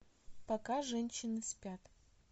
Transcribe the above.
пока женщины спят